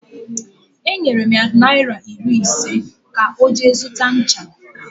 Enyere m ya naịra iri ise ka ọ jee zụta ncha